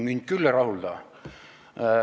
"Mind küll ei rahulda!